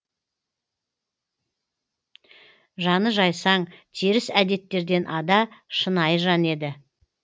жаны жайсаң теріс әдеттерден ада шынайы жан еді